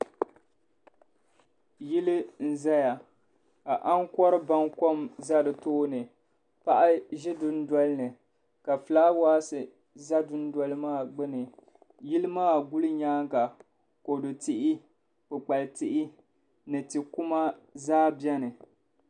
Yili n ƶaya ka ankɔri bamkɔm ƶa di tooni paɣa n ƶi dundolini ka filaawasi ƶa dun doli maa gbini yili maa nyaaŋa kodu tihi kpɛkpɛli tihi ni tikuma ƶaa bɛni .